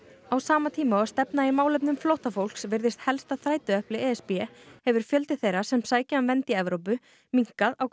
á sama tíma og stefna í málefnum flóttafólks virðist helsta þrætuepli e s b hefur fjöldi þeirra sem sækja um vernd í Evrópu minnkað á